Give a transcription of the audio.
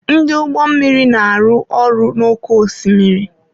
Ndị ọrụ ụgbọ mmiri na-arụ ọrụ n'oké osimiri.